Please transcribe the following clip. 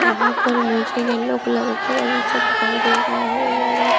यहां पर मुझे येलो कलर का बगीचा दिखाई दे रहा है और ये--